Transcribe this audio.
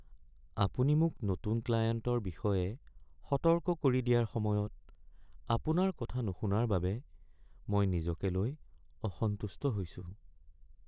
আপুনি মোক নতুন ক্লায়েণ্টৰ বিষয়ে সতৰ্ক কৰি দিয়াৰ সময়ত আপোনাৰ কথা নুশুনাৰ বাবে মই নিজকে লৈ অসন্তুষ্ট হৈছোঁ।